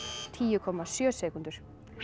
tíu komma sjö sekúndur